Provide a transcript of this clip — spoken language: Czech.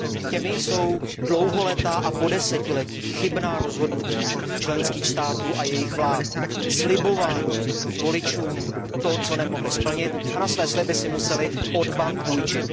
Těmi jsou dlouholetá a po desetiletí chybná rozhodnutí členských států a jejich vlád, slibování voličům něčeho, co nemohly splnit, a na své sliby si musely od bank půjčit.